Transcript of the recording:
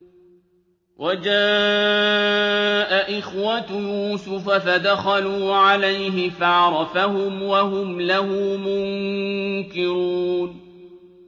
وَجَاءَ إِخْوَةُ يُوسُفَ فَدَخَلُوا عَلَيْهِ فَعَرَفَهُمْ وَهُمْ لَهُ مُنكِرُونَ